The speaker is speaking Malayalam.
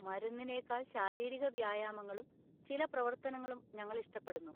മരുന്നിനേക്കാൾ ശാരീരിക വ്യായാമങ്ങളും ചില പ്രവർത്തനങ്ങളും ഞങ്ങൾ ഇഷ്ടപ്പെടുന്നു.